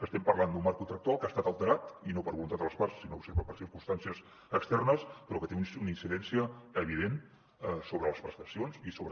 estem parlant d’un marc contractual que ha estat alterat i no per voluntat de les parts sinó per circumstàncies externes però que té una incidència evident sobre les prestacions i sobre